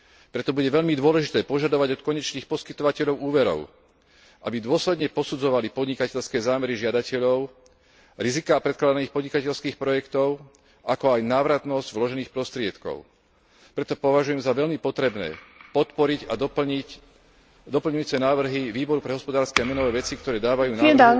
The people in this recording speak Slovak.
Preto bude veľmi dôležité požadovať od konečných poskytovateľov úverov, aby dôsledne posudzovali podnikateľské zámery žiadateľov, riziká predkladaných podnikateľských projektov, ako aj návratnosť vložených prostriedkov. Preto považujem za veľmi potrebné podporiť a doplniť doplňujúce návrhy Výboru pre hospodárske a menové veci, ktoré dávajú návrhu